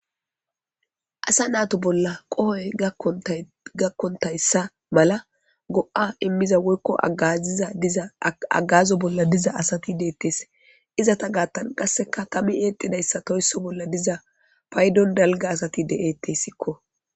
Asa nato bolla qohoy gakkontayssa mala go'a immiza woykko aziza diza agazo bolla diza asati deettees izata gaattan qasseka tami eexidayssa toysso bolla diza paydon dalga asati de'eettessikko